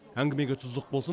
әңгімеге тұздық болсын